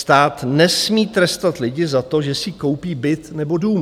Stát nesmí trestat lidi za to, že si koupí byt nebo dům.